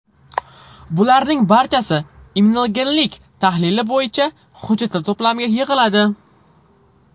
Bularning barchasi immunogenlik tahlili bo‘yicha hujjatlar to‘plamiga yig‘iladi.